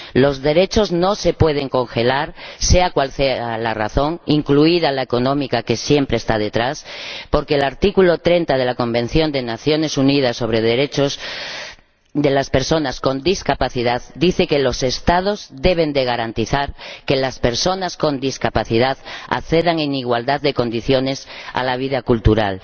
Los derechos no se pueden congelar, sea cual sea la razón ―incluida la económica, que siempre está detrás―, porque el artículo 30 de la Convención de las Naciones Unidas sobre los Derechos de las Personas con Discapacidad dice que los Estados deben garantizar que las personas con discapacidad accedan en igualdad de condiciones a la vida cultural.